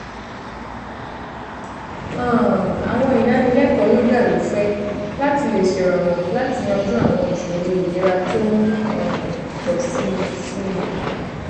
um àwọn ìdánilẹkọọ yoga lófẹẹ láti lè ṣèrànwọ láti yanjú àwọn ìṣòro ìlera tó ń um pọ sí sí i